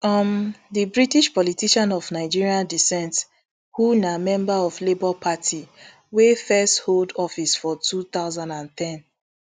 um di british politician of nigerian decent who na member of labour party wey first hold office for two thousand and ten